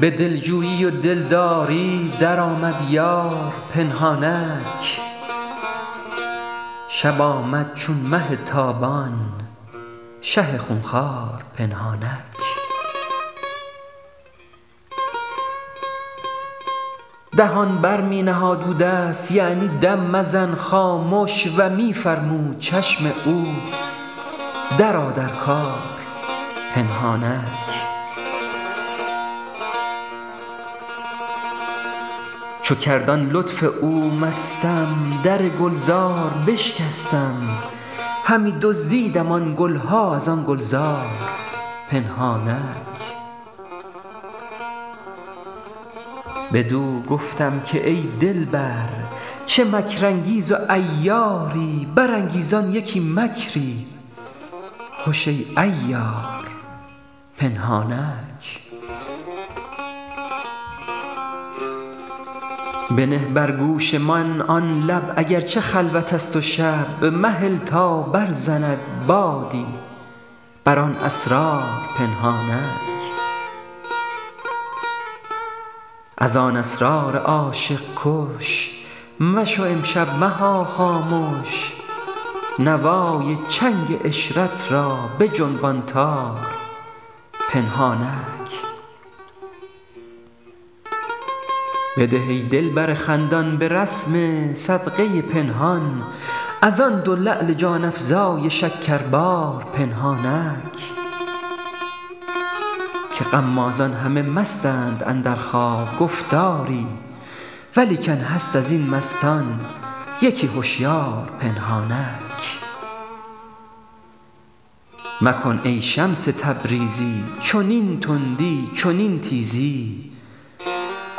به دلجویی و دلداری درآمد یار پنهانک شب آمد چون مه تابان شه خون خوار پنهانک دهان بر می نهاد او دست یعنی دم مزن خامش و می فرمود چشم او درآ در کار پنهانک چو کرد آن لطف او مستم در گلزار بشکستم همی دزدیدم آن گل ها از آن گلزار پنهانک بدو گفتم که ای دلبر چه مکرانگیز و عیاری برانگیزان یکی مکری خوش ای عیار پنهانک بنه بر گوش من آن لب اگر چه خلوتست و شب مهل تا برزند بادی بر آن اسرار پنهانک از آن اسرار عاشق کش مشو امشب مها خامش نوای چنگ عشرت را بجنبان تار پنهانک بده ای دلبر خندان به رسم صدقه پنهان از آن دو لعل جان افزای شکربار پنهانک که غمازان همه مستند اندر خواب گفت آری ولیکن هست از این مستان یکی هشیار پنهانک مکن ای شمس تبریزی چنین تندی چنین تیزی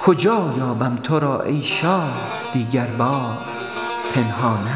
کجا یابم تو را ای شاه دیگربار پنهانک